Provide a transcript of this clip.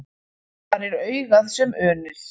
Þar er augað sem unir.